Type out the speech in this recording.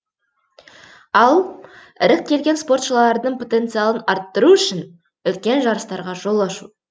ал іріктелген спортшылардың потенциалын арттыру үшін үлкен жарыстарға жол ашу